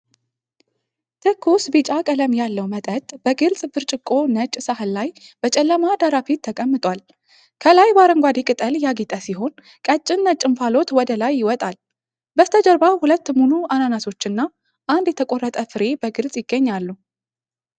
ትኩስ ቢጫ ቀለም ያለው መጠጥ በግልጽ ብርጭቆና ነጭ ሳህን ላይ በጨለማ ዳራ ፊት ተቀምጧል። ከላይ በአረንጓዴ ቅጠል ያጌጠ ሲሆን፤ ቀጭን ነጭ እንፋሎት ወደ ላይ ይወጣል። በስተጀርባ ሁለት ሙሉ አናናሶችና አንድ የተቆረጠ ፍሬ በግልጽ ይገኛሉ።